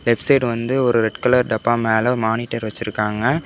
Left side வந்து ஒரு red colour டப்பா மேல மானிட்டர் வெச்சிருக்காங்க.